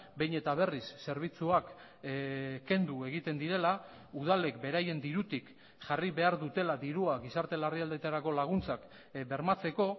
behin eta berriz zerbitzuak kendu egiten direla udalek beraien dirutik jarri behar dutela dirua gizarte larrialdietarako laguntzak bermatzeko